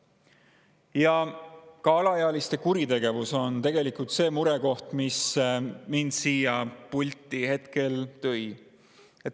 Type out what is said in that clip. Ja alaealiste kuritegevus on tegelikult murekoht, mis mind siia pulti hetkel tõi.